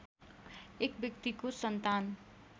एक व्यक्तिको सन्तान